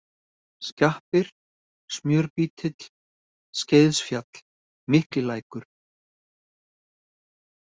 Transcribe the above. Skjappir, Smjörbítill, Skeiðsfjall, Miklilækur